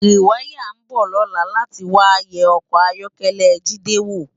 Riwàyá n bò lòlá làtí wá yè òkò áyòkèlè Jide wó